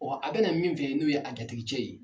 a bɛ na min fɛ yen n'o ye a jatigicɛ ye.